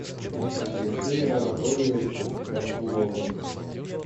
алексеем анатольевичем расуловым